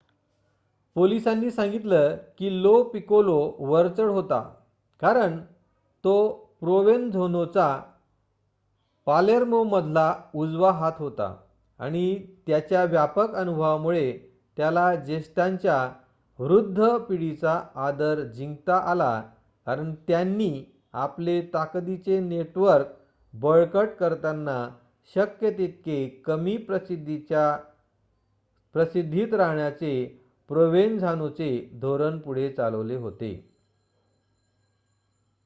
पोलिसांनी सांगितलं की लो पिकोलो वरचढ होता कारण तो प्रोवेनझानोचा पालेर्मोमधला उजवा हात होता आणि त्याच्या व्यापक अनुभवामुळे त्याला ज्येष्ठांच्या वृद्ध पिढीचा आदर जिंकता आला कारण त्यांनी आपले ताकदीचे नेटवर्क बळकट करताना शक्य तितके कमी प्रसिद्धीत राहण्याचे प्रोवेनझानोचे धोरण पुढे चालवले होते